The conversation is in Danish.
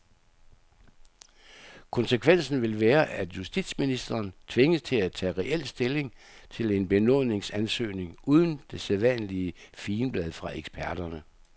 Konsekvensen vil være, at justitsministeren tvinges til at tage reel stilling til en benådningsansøgning uden det sædvanlige figenblad fra eksperterne.